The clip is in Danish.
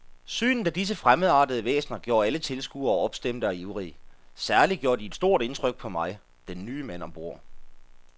Synet af disse fremmedartede væsener gjorde alle tilskuere opstemte og ivrige, særlig gjorde de et stort indtryk på mig, den nye mand om bord.